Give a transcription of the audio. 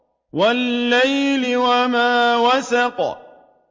وَاللَّيْلِ وَمَا وَسَقَ